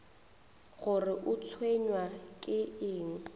gore o tshwenywa ke eng